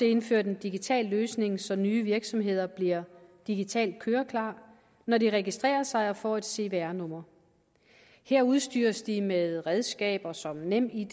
indført en digital løsning så nye virksomheder bliver digitalt køreklare når de registrerer sig og får et cvr nummer her udstyres de med redskaber som nemid